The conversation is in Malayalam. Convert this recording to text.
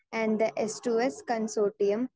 speaker 2 and S to S consortium